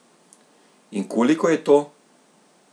In koliko je to?